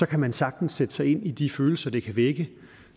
kan man sagtens sætte sig ind i de følelser det kan vække